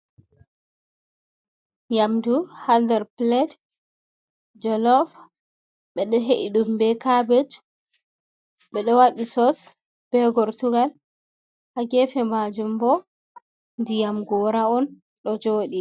Yamdu ha ndar pilet jolof, ɓeɗo he’i ɗumbe kabej, ɓeɗo waɗi sos, be gortugal. hagefe majum bo ndiyam gora on ɗo joɗi